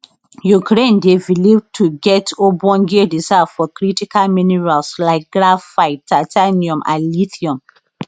ukraine dey believed to get ogbonge reserve of critical minerals like graphite titanium and lithium